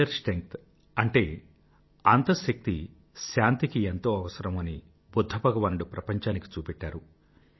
inner strength అంటే అంతశక్తి శాంతికి ఎంతో అవసరం అని బుధ్ధ భగవానుడు ప్రపంచానికి చూపెట్టాడు